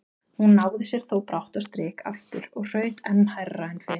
Hún náði sér þó brátt á strik aftur og hraut enn hærra en fyrr.